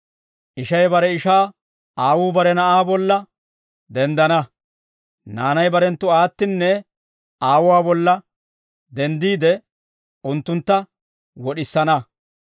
«Ishay bare ishaa, aawuu bare na'aa bolla denddana; naanay barenttu aattinne aawuwaa bolla denddiide, unttuntta wod'isana.